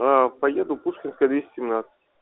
поеду пушкинская двести семьнадцать